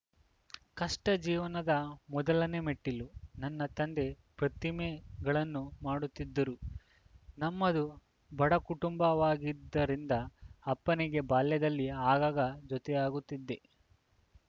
ಕಷ್ಟಜೀವನದ ಮೊದಲನೇ ಮೆಟ್ಟಿಲು ನನ್ನ ತಂದೆ ಪ್ರತಿಮಗಳನ್ನು ಮಾಡುತ್ತಿದ್ದರು ನಮ್ಮದು ಬಡಕುಟುಂಬವಾಗಿದ್ದರಿಂದ ಅಪ್ಪನಿಗೆ ಬಾಲ್ಯದಲ್ಲಿ ಆಗಾಗ ಜೊತೆಯಾಗುತ್ತಿದ್ದೆ